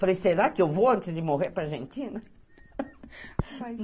Falei, será que eu vou antes de morrer para Argentina?